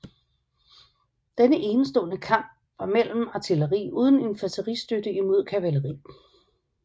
Denne enestestående kamp var mellem artilleri uden infanteristøtte imod kavaleri